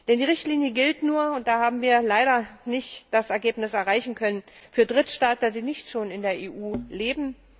Denn die Richtlinie gilt nur da haben wir leider nicht das Ergebnis erreichen können für Drittstaatsangehörige, die nicht schon in der EU leben.